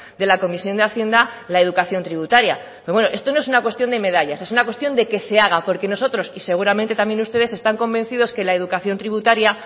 de la comisión de hacienda la educación tributaria pero bueno esto no es una cuestión de medallas es una cuestión de que se haga porque nosotros y seguramente también ustedes están convencido que la educación tributaria